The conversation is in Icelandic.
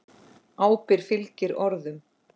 Ábyrgð fylgir orðum.